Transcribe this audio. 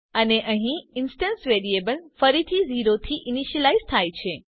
અને અહીં instance variable ફરીથી 0 થી ઈનીશ્યલાઈઝ થાય છે